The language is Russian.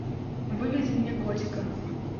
выведи мне готика